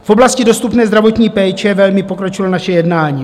V oblasti dostupné zdravotní péče velmi pokročilo naše jednání.